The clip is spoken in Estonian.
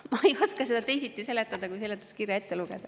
Ma ei oska seda teisiti seletada, kui seletuskirja ette lugeda.